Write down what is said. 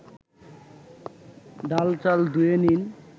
ডাল-চাল ধুয়ে নিন